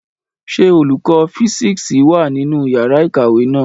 Ṣé olùkọ fisiksi wá nínú yàrá ìkàwé náà?